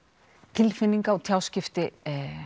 tilfinningar og tjáskipti